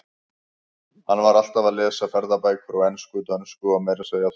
Hann var alltaf að lesa ferðabækur á ensku, dönsku og meira að segja þýsku.